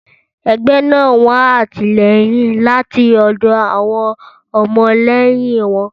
Ẹgbẹ́ náà ń wá àtìlẹ́yìn láti ọ̀dọ̀ àwọn ọmọlẹ́yìn wọn.